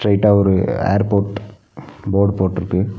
ஸ்ட்ரைட்ட ஒரு airport board போட்ருக்கு.